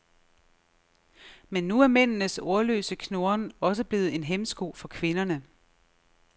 Men nu er mændenes ordløse knurren også blevet en hæmsko for kvinderne.